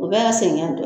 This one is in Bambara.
U bɛɛ ye sɛgɛn dɔ ye